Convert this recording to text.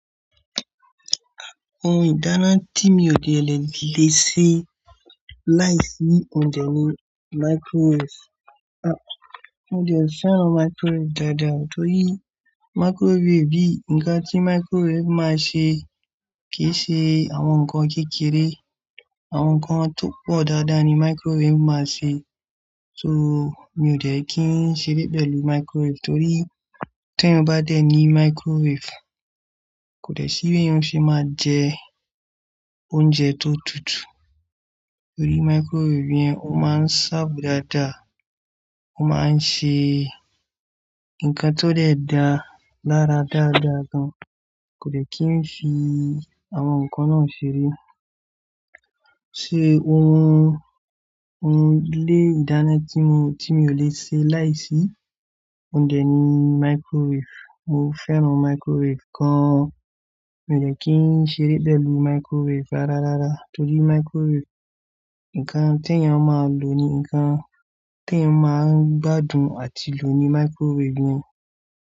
Àwọn ìdáná tí mi ò de leṣe láìsí oúnjẹ ni microwave. A-- mo dẹ fẹ́ràn microwave dáadáa torí microwave bí, ǹkan tí microwave máa ṣe kì í ṣe àwọn ǹkan kékeré, àwọn ǹkan tó pọ̀ dáadáa ni microwave máa ṣe. So mi ò dẹ̀ kí ń ṣeré pẹ̀lú microwave torí tí ẹeyan bá dẹ ní microwave, kò dẹ̀ sí ibi yẹn o ṣe máa jẹ oúnjẹ tó tutù. Torí microwave yẹn, ó máa ń ṣaábò dáadáa, ó máa ń ṣe ǹkan tó dẹ̀ dá lára dáadáa gan. Kò dẹ̀ kí ń se àwọn ǹkan náà ṣeré. Ṣé ohun, ohun ilé ìdáná tí mo, tí mi ò lè ṣe láìsí oúnjẹ ni microwave. Mo fẹ́ran microwave gan. Mi ò dẹ̀ kí ń ṣeré pẹ̀lú microwave rárá rárá torí microwave, ǹkan tí ẹ̀yan ó máa lò ni ǹkan tí ẹ máa ń gbádùn àti lò ni microwave yẹn.